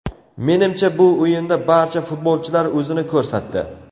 Menimcha, bu o‘yinda barcha futbolchilar o‘zini ko‘rsatdi.